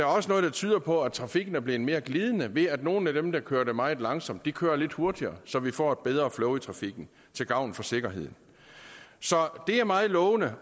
også noget der tyder på at trafikken er blevet mere glidende ved at nogle af dem der kørte meget langsomt kører lidt hurtigere så vi får et bedre flow i trafikken til gavn for sikkerheden så det er meget lovende